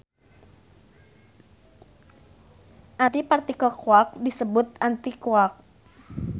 Antipartikel quark disebut antiquark.